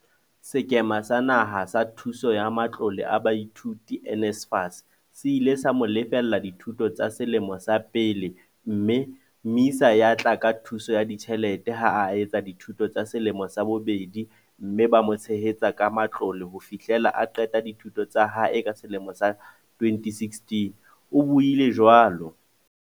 "Sekema sa Naha sa Thuso ya Matlole a Baithuti, NSFAS, se ile sa mo lefella dithuto tsa selemo sa pele mme MISA ya tla ka thuso ya ditjhelete ha a etsa dithuto tsa selemo sa bobedi mme ba mo tshehetsa ka matlole ho fihlela a qeta dithuto tsa hae ka selemo sa 2016," o buile jwalo.